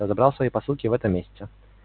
я забрал свои посылки в этом месяце